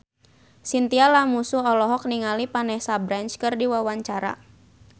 Chintya Lamusu olohok ningali Vanessa Branch keur diwawancara